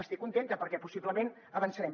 estic contenta perquè possiblement avançarem